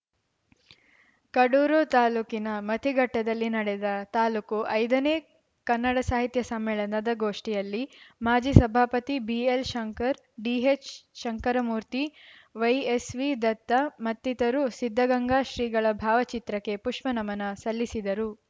ಕಡೂರು ತಾಲೂಕಿನ ಮತಿಘಟ್ಟದಲ್ಲಿ ನಡೆದ ತಾಲೂಕು ಐದನೇ ಕನ್ನಡ ಸಾಹಿತ್ಯ ಸಮ್ಮೇಳನದ ಗೋಷ್ಟಿಯಲ್ಲಿ ಮಾಜಿ ಸಭಾಪತಿ BL Shankar DH Shankaramurthy YSV Datta ಮತ್ತಿತರರು ಸಿದ್ಧಗಂಗಾ ಶ್ರೀಗಳ ಭಾವಚಿತ್ರಕ್ಕೆ ಪುಷ್ಪನಮನ ಸಲ್ಲಿಸಿದರು